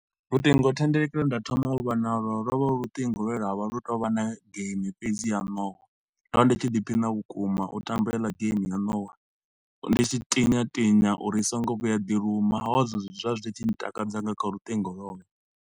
Luṱingo thendeleki lwe nda thoma u vha nalo, lo vha lu luṱingo lwe lwa vha lu tshi to u vha na game fhedzi ya nowa. Ndo vha ndi tshi ḓi phina vhukuma u tamba heila game ya nowa, ndi tshi tinya tinya uri i so ngo vhuya ya ḓi luma. Ho vha hu zwezwo zwe zwa vha zwi tshi ntakadza nga kha lutingo lwolo.